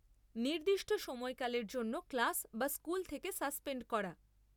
নির্দিষ্ট সময়কালের জন্য ক্লাস বা স্কুল থেকে সাসপেন্ড করা।